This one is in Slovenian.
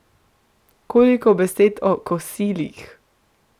Koliko besed o kosilih!